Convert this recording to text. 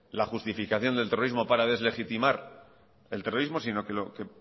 la justificación del terrorismo para deslegitimar el terrorismo sino que lo que